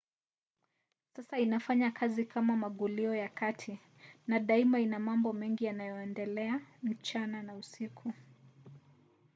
sasa inafanya kazi kama magulio ya kati na daima ina mambo mengi yanayoendelea mchana na usiku